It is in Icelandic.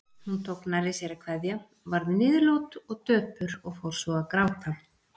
Hún tók nærri sér að kveðja, varð niðurlút og döpur og fór svo að gráta.